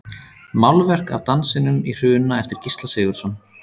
Málverk af Dansinum í Hruna eftir Gísla Sigurðsson.